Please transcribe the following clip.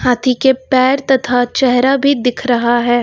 हाथी के पैर तथा चेहरा भी दिख रहा है।